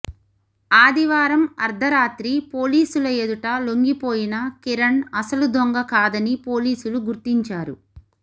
ఆదివారం అర్ధరాత్రి పోలీసుల ఎదుట లొంగిపోయిన కిరణ్ అసలు దొంగ కాదని పోలీసులు గుర్తించారు